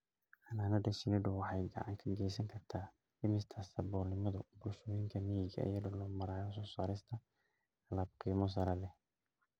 Xannaanada shinnidu waxay gacan ka geysan kartaa dhimista saboolnimada bulshooyinka miyiga iyadoo loo marayo soo saarista alaab qiimo sare leh.